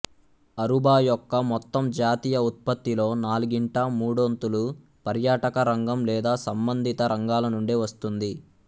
Aruba యొక్క మొత్తం జాతీయ ఉత్పత్తిలో నాల్గింట మూడొంతులు పర్యాటక రంగం లేదా సంబంధిత రంగాల నుండే వస్తుంది